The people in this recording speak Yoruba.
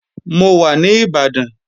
Mò wa ní Ìbàdàn